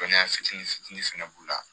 Dɔnniya fitini fitini fɛnɛ b'u la